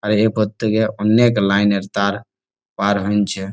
আর এর করতে গিয়ে অনেক লাইন -এর তার পার হইনছে ।